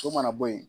So mana bɔ yen